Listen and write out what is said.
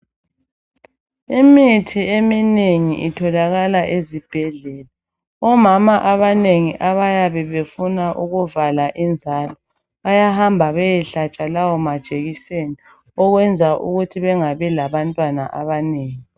Imithi eminengi itholakala ezibhedlela. Omama abanengi abayabe befuna kuvala inzalo bayahamba bayehlatshwa lawo majekiseni okwenza ukuthi bengabi labantwana abanengi.